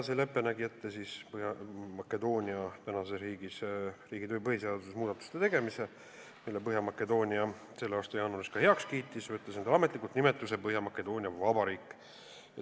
See lepe nägi ette tänase Põhja-Makedoonia põhiseaduses muudatuste tegemise, mille Põhja-Makedoonia selle aasta jaanuaris ka heaks kiitis, võttes enda ametlikuks nimetuseks Põhja-Makedoonia Vabariik.